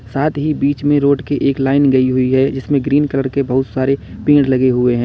साथ ही बीच में रोड के एक लाइन गई हुई है जिसमें ग्रीन कलर के बहुत सारे पेड़ लगे हुए हैं।